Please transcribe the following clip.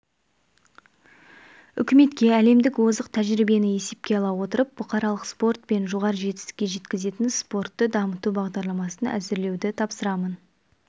үкіметке әлемдік озық тәжірибені есепке ала отырып бұқаралық спорт пен жоғары жетістікке жеткізетін спортты дамыту бағдарламасын әзірлеуді тапсырамын